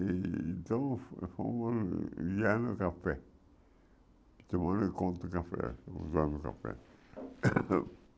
E então já no café, tomando conta do café, usando o café.